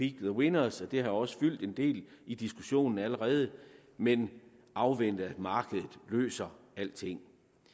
the winners og det har også fyldt en del i diskussionen allerede men afvente at markedet løser alting